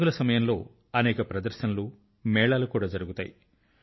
పండుగల సమయంలో అనేక ప్రదర్శనలుమేళాలు కూడా జరుగుతాయి